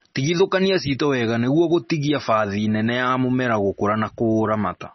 Tigithũkania ciito wega nĩguo gũtigia bathi nene ya mũmera gũkũra na kũũramata